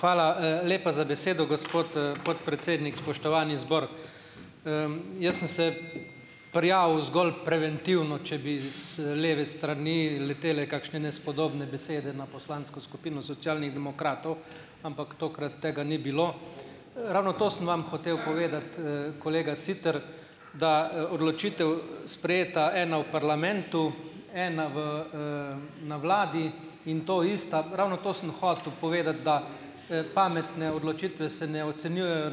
Hvala, lepa za besedo, gospod, podpredsednik. Spoštovani zbor! Jaz sem se prijavil zgolj preventivno, če bi z leve strani letele kakšne nespodobne besede na poslansko skupino Socialnih demokratov. Ampak tokrat tega ni bilo. Ravno to sem vam hotel povedati, kolega Siter, da, odločitev, sprejeta ena v parlamentu, ena v, na vladi, in to ista, ravno to sem hotel povedati, da, pametne odločitve se ne ocenjujejo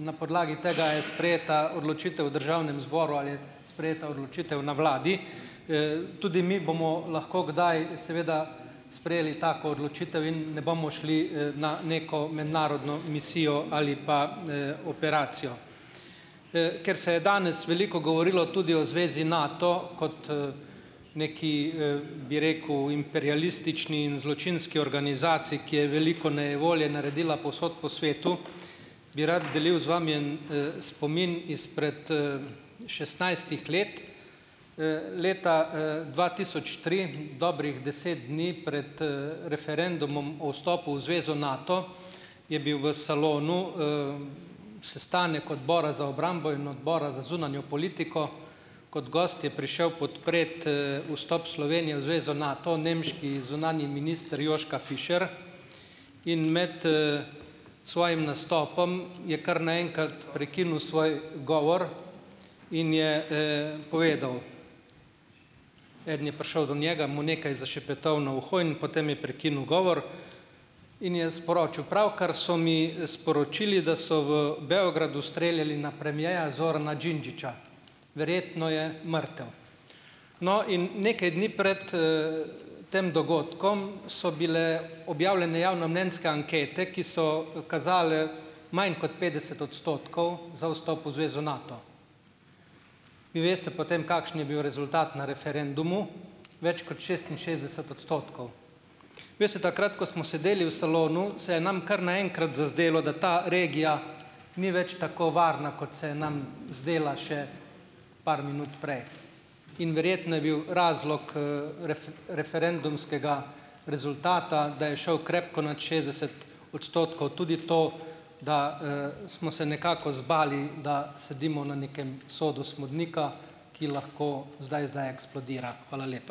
na podlagi tega, a je sprejeta odločitev v državnem zboru ali je sprejeta odločitev na vladi. Tudi mi bomo lahko kdaj seveda sprejeli tako odločitev in ne bomo šli, na neko mednarodno misijo ali pa, operacijo. Ker se je danes veliko govorilo tudi o Zvezi Nato kot, neki, bi rekel imperialistični in zločinski organizaciji, ki je veliko nejevolje naredila povsod po svetu, bi rad delil z vami en, spomin izpred, šestnajstih let. Leta, dva tisoč tri, dobrih deset dni pred, referendumom o vstopu v Zvezo Nato, je bil v salonu, sestanek Odbora za obrambo in Odbora za zunanjo politiko. Kot gost je prišel podpreti, vstop Slovenije v Zvezo Nato nemški zunanji minister Joschka Fischer in med, svojim nastopom je kar na enkrat prekinil svoj govor in je, povedal. Eden je prišel do njega, mu nekaj zašepetal na uho in potem je prekinil govor in je sporočil: "Pravkar so mi sporočili, da so v Beogradu streljali na premierja Zorana Đinđića, verjetno je mrtev." No, in nekaj dni pred, tem dogodkom, so bile objavljene javnomnenjske ankete, ki so kazale manj kot petdeset odstotkov za vstop v zvezo Nato. Vi veste, potem kakšen je bil rezultat na referendumu. Več kot šestinšestdeset odstotkov. Veste, takrat ko smo sedeli v salonu, se je nam kar naenkrat zazdelo, da ta regija ni več tako varna, kot se je nam zdela še par minut prej. In verjetno je bil razlog, referendumskega rezultata, da je šel krepko nad šestdeset odstotkov, tudi to, da, smo se nekako zbali, da sedimo na nekem sodu smodnika, ki lahko zdaj zdaj eksplodira. Hvala lepa.